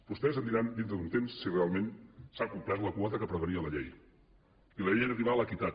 vostès em diran dintre d’un temps si realment s’ha complert la quota que prevenia la llei i la llei era arribar a l’equitat